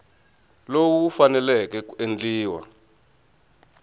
lowu wu faneleke ku endliwa